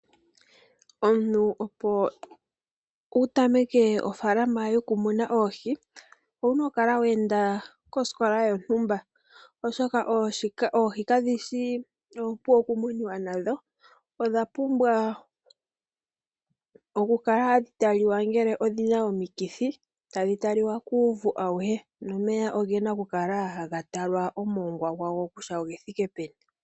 Omuntu opo wutameke ofaalama yokumuna oohi owuna okukala wa enda osikola yontumba. Oshoka oohi kadhishi oompu okumunwa nadho, odhapumbwa oku kala hadhitaliwa ngele odhina omikithi. Tadhi talwa kuuvu awuhe. Nomeya ogena oku kala haga talwa kutya omongwa gwawo oguthike peni.